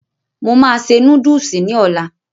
Mo máa se núdùsì ní ọlá